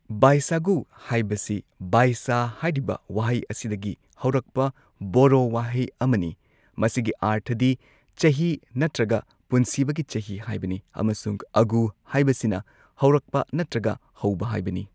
ꯕꯥꯏꯁꯥꯒꯨ ꯍꯥꯏꯕꯁꯤ ꯕꯥꯏꯁꯥ ꯍꯥꯏꯔꯤꯕ ꯋꯥꯍꯩ ꯑꯁꯤꯗꯒꯤ ꯍꯧꯔꯛꯄ ꯕꯣꯔꯣ ꯋꯥꯍꯩ ꯑꯃꯅꯤ ꯃꯁꯤꯒꯤ ꯑꯥꯔꯊꯗꯤ ꯆꯍꯤ ꯅꯠꯇ꯭ꯔꯒ ꯄꯨꯟꯁꯤꯕꯒꯤ ꯆꯍꯤ ꯍꯥꯏꯕꯅꯤ ꯑꯃꯁꯨꯡ ꯑꯒꯨ ꯍꯥꯏꯕꯁꯤꯅ ꯍꯧꯔꯛꯄ ꯅꯠꯇ꯭ꯔꯒ ꯍꯧꯕ ꯍꯥꯏꯕꯅꯤ꯫